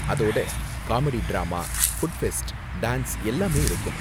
அதோட comedy drama, food fest, dance எல்லாமே இருக்கும்.